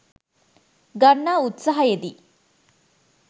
ගන්නා උත්සාහයේ දී